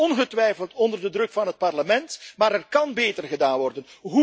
Dat gebeurt ongetwijfeld onder druk van het Parlement, maar het kan beter gedaan worden.